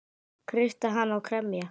Kreista hana og kremja.